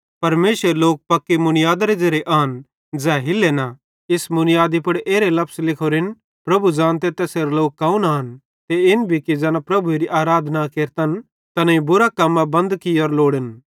परमेशरेरे लोक पक्की मुनीयादारे ज़ेरे आन ज़ै हिल्ले ना इस मुनीयादी पुड़ एरे लफस लिखोरेन प्रभु ज़ानते तैसेरे लोक कौन आन ते इन भी कि ज़ैना प्रभुएरी आराधना केरतन तैनेईं बुरां कम्मां केरनां बंद कियोरां लोड़न